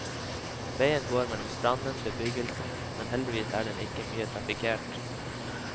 Veien går mellom stranden og bebyggelsen, men heldigvis er den ikke mye traffikert.